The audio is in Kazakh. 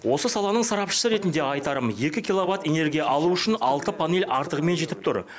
осы саланың сарапшысы ретінде айтарым екі киловатт энергия алу үшін алты панель артығымен жетіп тұр